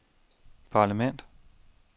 parlament